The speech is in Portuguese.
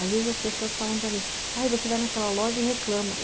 Às vezes as pessoas falam para mim, aí você vai naquela loja e reclama.